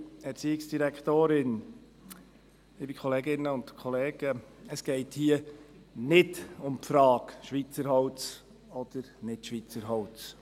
Es geht hier nicht um die Frage «Schweizer Holz oder nicht Schweizer Holz?